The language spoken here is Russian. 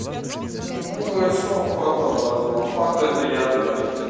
он говорит что он фату обозвал фата это я да